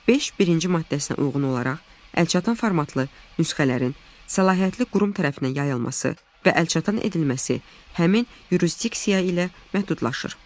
5.1-ci maddəsinə uyğun olaraq əlçatan formatlı nüsxələrin səlahiyyətli qurum tərəfindən yayılması və əlçatan edilməsi həmin yurisdiksiya ilə məhdudlaşır.